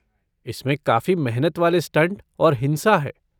इसमें काफी मेहनत वाले स्टंट और हिंसा है।